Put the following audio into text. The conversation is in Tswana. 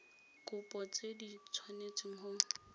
kopo tse di tshwanetseng go